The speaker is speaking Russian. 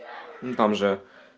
ну там же